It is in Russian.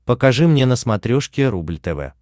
покажи мне на смотрешке рубль тв